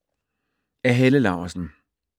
Af Helle Laursen